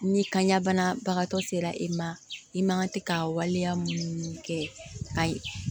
Ni kanɲa banabagatɔ sera e ma i man tɛ ka waleya mun kɛ a ye